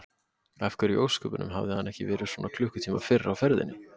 Af hverju í ósköpunum hafði hann ekki verið svona klukkutíma fyrr á ferðinni?